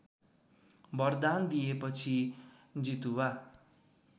वरदान दिएपछि जितुवा